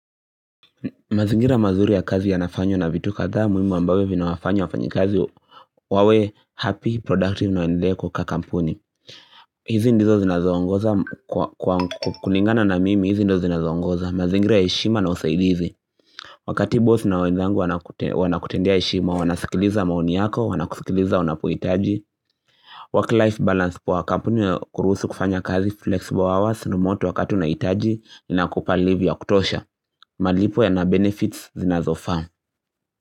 Mazingira mazuri ya kazi ya nafanywa na vitu kadhaa muhimu ambavyo vinawafanya wafanya kazi wawe happy, productive na waendelee kukaa kakampuni hizi ndizo zinazoongoza kwa kulingana na mimi hizi ndo zinazoongoza mazingira ya heshima na usaidizi Wakati boss na wenzangu wana kutendea heshima, wanasikiliza maoni yako, wana kusikiliza wanapohitaji work life balance poa kampuni ya kuruhusu kufanya kazi flexible hours ni moto wakati unahitaji, inakupa livi ya kutosha malipo yana benefits zinazo faa.